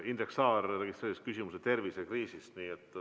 Indrek Saar registreeris küsimuse tervisekriisi kohta.